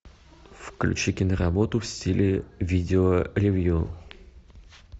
включи киноработу в стиле видеоревью